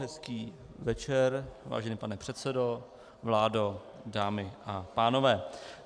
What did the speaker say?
Hezký večer, vážený pane předsedo, vládo, dámy a pánové.